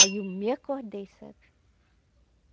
Aí eu me acordei, sabe?